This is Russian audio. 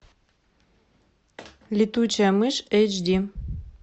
летучая мышь эйч ди